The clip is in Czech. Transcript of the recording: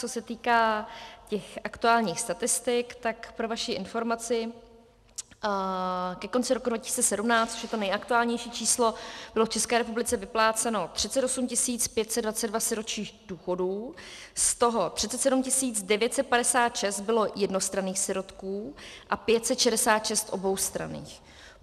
Co se týká těch aktuálních statistik, tak pro vaši informaci, ke konci roku 2017, což je to nejaktuálnější číslo, bylo v České republice vypláceno 38 522 sirotčích důchodů, z toho 37 956 bylo jednostranných sirotků a 566 oboustranných.